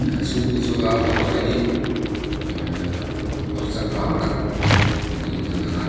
a chhung hi chu ahh a motor a hi ahhh motor changkang tak niin a lang a.